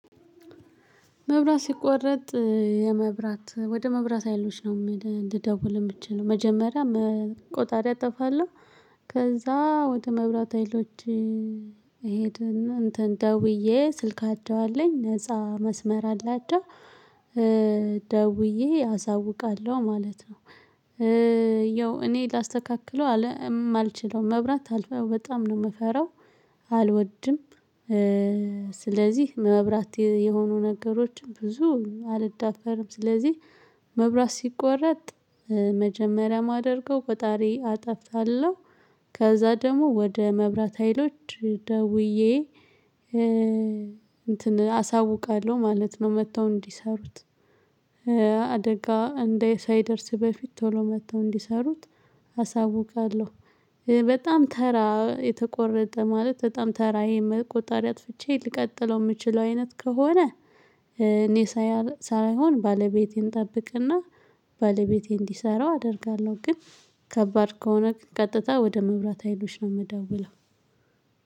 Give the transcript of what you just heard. መብራት ሲቆረጥ የመብራት ወደ መብራት ሀይሎች ነው ልደውል የምትችለው መጀመሪያ ቆጣሪ እጠፋለሁ ከዛ ወደ መብራት ሀይሎች እሄድና እንትን ደውዬ ስልካቸው አለኝ ነፃ መስመር አላቸው። ደውዬ አሳውቃለሁ ማለት ነው። ያው እኔ ላስተካክለው ማልችለው መብራት አልፈው በጣም ነው የምፈራው አልወድም። ስለዚህ መብራት የሆኑ ነገሮችም ብዙ አልዳፈርም። ስለዚህ መብራት ሲቆረጥ መጀመሪያ ማደርገው ቆጣሪ አጠፍለሁ ከዛ ደግሞ ወደ መብራት ሀይሎች ደውዬ እንትን አሳውቃለሁ ማለት ነው መጥተው እንዲሰሩት አደጋ እንደ ሳይደርስ በፊት ቶሎ መጥተው እንዲሰሩት አሳውቃለሁ። በጣም ተራ የተቆረጠ ማለት በጣም ተራ ቆጣሪ አጥፍቼ ልቀጥለው የምችለው አይነት ከሆነ እኔ ሳይሆን ባለቤቴን እጠብቅና ባለቤቴ እንዲሰራው አደርጋለሁ። ግን ከባድ ከሆነ ግን ቀጥታ ወደ መብራት ሀይሎች ነው የምደውለው።